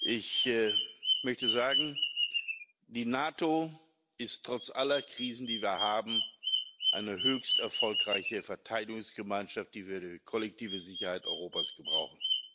Ich möchte sagen Die NATO ist trotz aller Krisen, die wir haben, eine höchst erfolgreiche Verteidigungsgemeinschaft, die wir für die kollektive Sicherheit Europas brauchen.